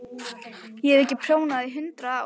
Ég hef ekki prjónað í hundrað ár.